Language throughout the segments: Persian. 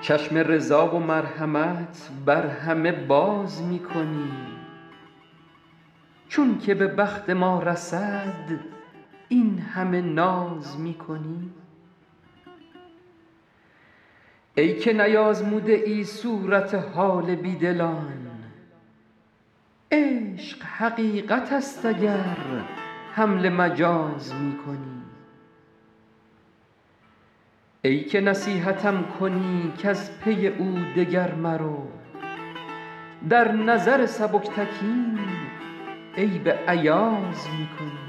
چشم رضا و مرحمت بر همه باز می کنی چون که به بخت ما رسد این همه ناز می کنی ای که نیآزموده ای صورت حال بی دلان عشق حقیقت است اگر حمل مجاز می کنی ای که نصیحتم کنی کز پی او دگر مرو در نظر سبکتکین عیب ایاز می کنی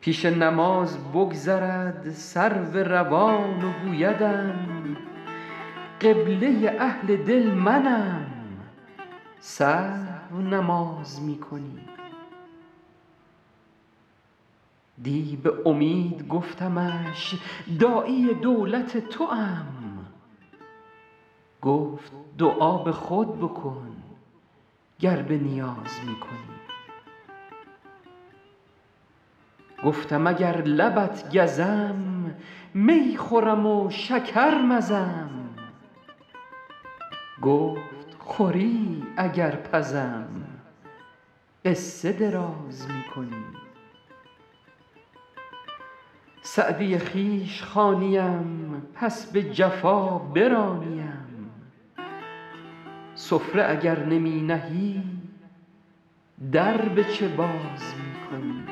پیش نماز بگذرد سرو روان و گویدم قبله اهل دل منم سهو نماز می کنی دی به امید گفتمش داعی دولت توام گفت دعا به خود بکن گر به نیاز می کنی گفتم اگر لبت گزم می خورم و شکر مزم گفت خوری اگر پزم قصه دراز می کنی سعدی خویش خوانیم پس به جفا برانیم سفره اگر نمی نهی در به چه باز می کنی